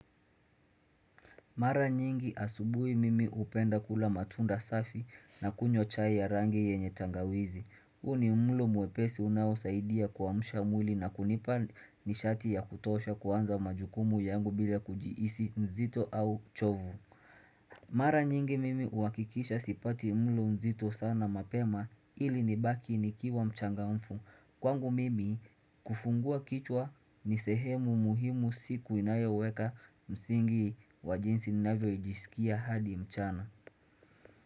Mara nyingi asubuhi mimi upenda kula matunda safi na kunywa chai ya rangi yenye tangawizi. Huo ni mlo muepesi unawo saidia kuwamusha mwili na kunipa nishati ya kutosha kuwanza majukumu yangu bila kujiisi mzito au chovu. Mara nyingi mimi huwakikisha sipati mlo mzito sana mapema ili nibaki ni kiwa mchanga mfu. Kwangu mimi kufungua kichwa ni sehemu muhimu siku inayoweka msingi wajinsi na vyo ijisikia hadi mchana.